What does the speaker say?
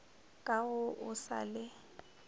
ka ga o sa le